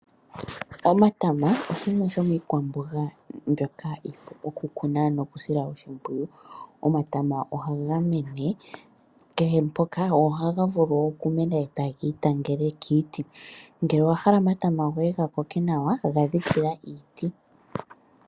Omatama oshimwe shomiikwamboga mbyoka iipu okukuna nokusila oshimpwiyu. Omatama ohaga mene kehe mpoka go ohaga vulu okumena e taga itangele kiiti. Ngele owahala omatama goye gakoke nawa gadhikila iiti.